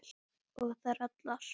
Og þær allar.